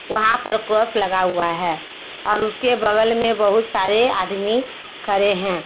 वहां पर क्रॉस लगा हुआ है और उसके बगल में बहुत सारे आदमी खड़े हैं।